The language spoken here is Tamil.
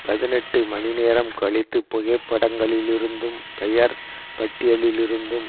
பதினெட்டு மணி நேரம் கழித்து புகைப்படங்களிலிருந்தும் பெயர் பட்டியலிலிருந்தும்